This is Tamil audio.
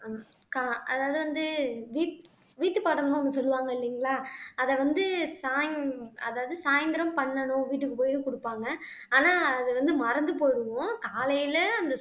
கா அதாவது வந்து வீட் வீட்டுப்பாடம்ன்னு ஒண்ணு சொல்லுவாங்க இல்லைங்களா அதை வந்து சாயந் அதாவது சாயந்திரம் பண்ணணும் வீட்டுக்கு போயும் குடுப்பாங்க ஆனா அது வந்து மறந்து போயிடுவோம் காலையில அந்த